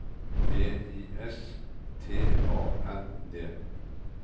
B I S T A N D